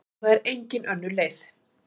Og það er engin önnur leið.